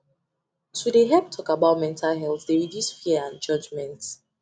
to dey help talk about mental health dey reduce fear and judgement